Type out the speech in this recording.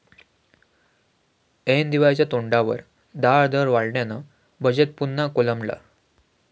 ऐन दिवाळीच्या तोंडावर डाळदर वाढल्यानं बजेट पुन्हा कोलमडलं